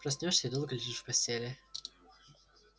проснёшься и долго лежишь в постели